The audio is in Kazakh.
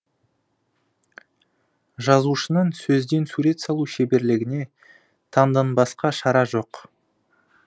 жазушының сөзден сурет салу шеберлігіне таңданбасқа шара жоқ